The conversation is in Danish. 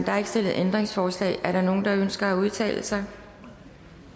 er ikke stillet ændringsforslag er der nogen der ønsker at udtale sig